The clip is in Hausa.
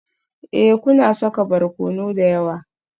Ee, kuna saka barkono da yawa